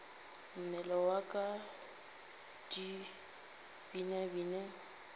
mmele wa ka di binabine